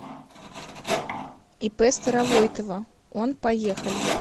ип старовойтова он поехали